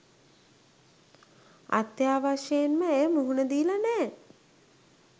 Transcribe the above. අත්‍යවශ්‍යයෙන්ම ඇය මුහුණ දීලා නෑ.